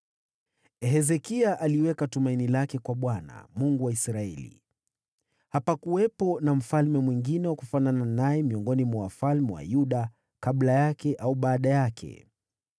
Hezekia aliweka tumaini lake kwa Bwana , Mungu wa Israeli. Hapakuwepo na mfalme mwingine wa kufanana naye miongoni mwa wafalme wa Yuda, kabla yake au baada yake.